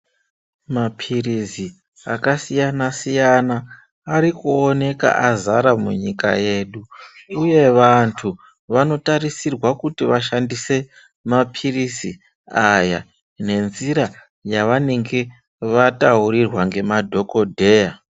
Mapirizi akasiyana siyana ari kuoneka azara munyika yedu uye vanthu vanotarisirwa kuti vashandise mapirizi aya ngenzira yavanenge vataurirwa ngemadhokodheya.